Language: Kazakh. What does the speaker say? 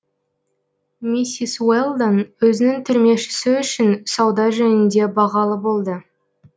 миссис уэлдон өзінің түрмешісі үшін сауда жөнінде бағалы болды